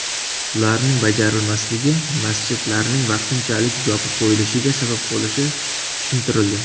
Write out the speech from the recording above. Ularning bajarilmasligi masjidlarning vaqtinchalik yopib qo‘yilishiga sabab bo‘lishi tushuntirildi.